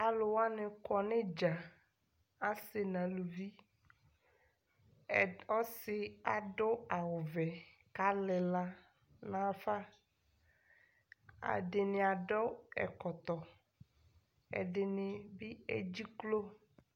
aluwanikɔ nidzaa asii naluvi ɛ ɔsi adu awuvɛ kalila nafa ɛdini adʋ ɛkɔtɔ ɛdini NA